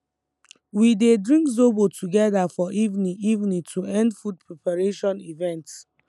we dey drink zobo together for evening evening to end food preparation event